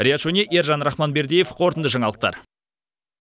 риат шони ержан рахманбердиев қорытынды жаңалықтар